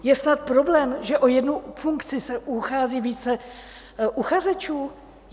Je snad problém, že o jednu funkci se uchází více uchazečů?